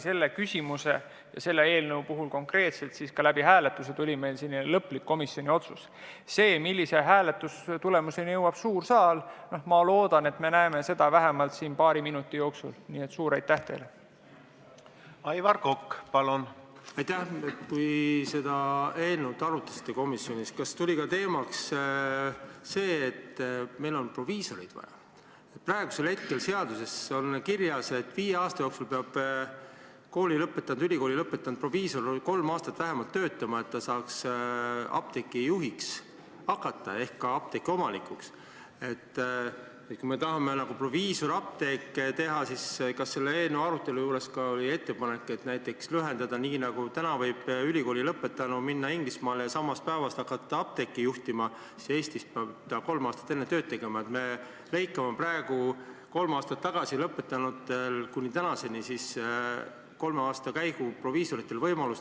Esimesena palun kõnepulti Sotsiaaldemokraatliku Erakonna fraktsiooni nimel sõna võtma Riina Sikkuti.